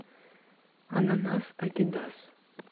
ананас адидас